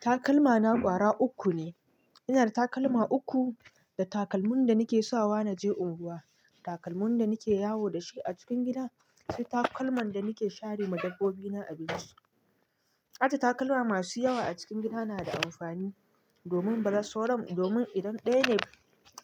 Takalma na ƙwara uku ne. Ina da takalma uku, da takalmin da nake sawa na je unguwa, takalmin da nake yawo da shi a cikin gida, sai takalman da nake share ma dabbobi na abinci. Ajiye takalma masu yawa a cikin gida na da amfani, domin ba za su soro ba, domin idan ɗaya ne